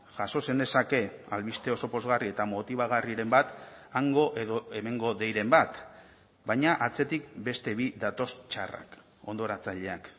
jaso zenezake albiste oso pozgarri eta motibagarriren bat hango edo hemengo deiren bat baina atzetik beste bi datoz txarrak hondoratzaileak